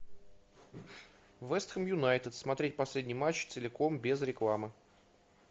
вест хэм юнайтед смотреть последний матч целиком без рекламы